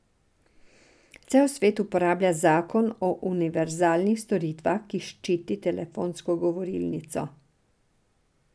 Cel svet uporablja zakon o univerzalnih storitvah, ki ščiti telefonsko govorilnico.